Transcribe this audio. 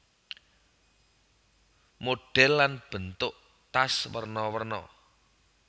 Modhèl lan bentuk tas werna werna